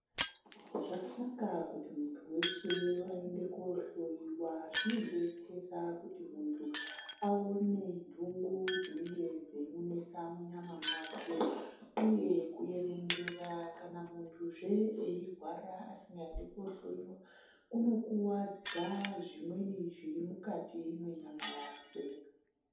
Zvakanaka kuti muntu weshe aende kohloiwa. Zvinodetsera kuti muntu aone ntungu dzinenge dzeimunesa munyama dzake, uye kuerengerazve muntu veirwara asikadi koohloiwa, kunokuwadza zvimweni zviri mukati mwenyama yakwe.